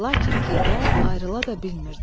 lakin gedə, ayrıla da bilmirdi.